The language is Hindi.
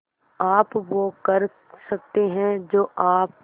आप वो कर सकते हैं जो आप